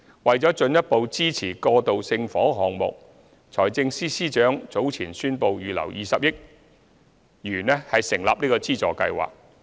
為了進一步支持過渡性房屋項目，財政司司長早前宣布預留20億元成立資助計劃。